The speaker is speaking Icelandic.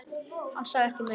Hann sagði ekki meira.